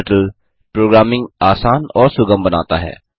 क्टर्टल programming आसान और सुगम बनाता है